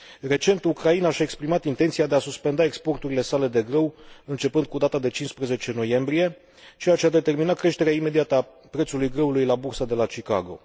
Recent, Ucraina și a exprimat intenția de a suspenda exporturile sale de grâu începând cu data de 15 noiembrie, ceea ce a determinat creșterea imediată a prețului grâului la Bursa de la Chicago.